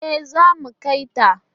E, zamu kai ta.